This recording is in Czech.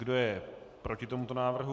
Kdo je proti tomuto návrhu?